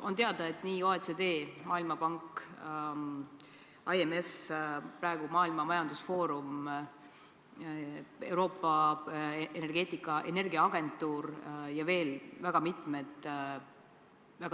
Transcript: On teada, et OECD, Maailmapank, IMF, Maailma Majandusfoorum, Euroopa Energiaagentuur ja veel mitmed